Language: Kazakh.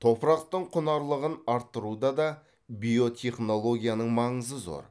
топырақтың құнарлығын арттыруда да биотехнологияның маңызы зор